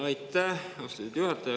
Aitäh, austatud juhataja!